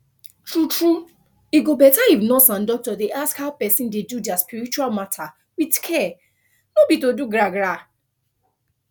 true true e go better if nurse and doctor dey ask how person dey do their spiritual matter with care no be to do gragra